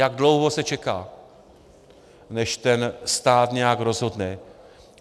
Jak dlouho se čeká, než ten stát nějak rozhodne.